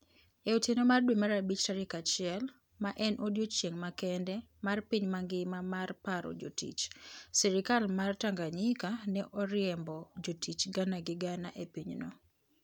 E otieno mar dwe mara bich tarik achiel, ma en odiechieng' makende mar piny mangima mar paro jotich, sirkal mar Tanganyika ne oriembo jotich gana gi gana e pinyno.